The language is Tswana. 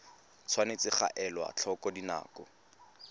tshwanetse ga elwa tlhoko dinako